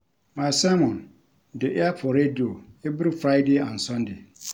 My sermon dey air for radio every Friday and Sunday